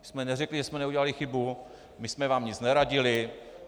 My jsme neřekli, že jsme neudělali chybu, my jsme vám nic neradili.